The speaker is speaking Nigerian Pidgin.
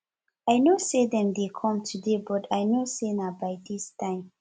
i know say dem dey come today but i no say na by dis time